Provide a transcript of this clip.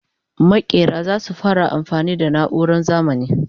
makera zasu fara amfani da nauran zamani